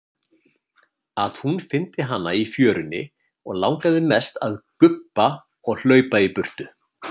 Að hún fyndi hana í fjörunni og langaði mest að gubba og hlaupa í burtu.